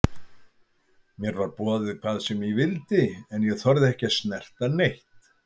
Mér var boðið hvað sem ég vildi en ég þorði ekki að snerta neitt.